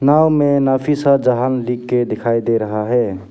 नाव में नफीसा जहांन जहां लिखकर दिखाई दे रहा है।